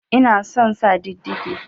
Ina son sa didige